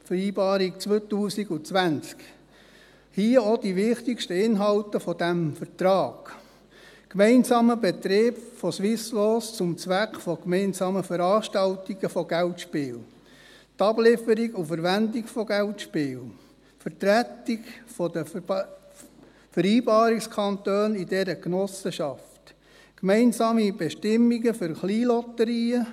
Hier auch die wichtigsten Inhalte dieses Vertrages: Gemeinsamer Betrieb von Swisslos zum Zweck von gemeinsamen Veranstaltungen von Geldspielen, die Ablieferung und Verwendung von Geldspielen, die Vertretung der Vereinbarungskantone in dieser Genossenschaft, gemeinsame Bestimmungen für Kleinlotterien.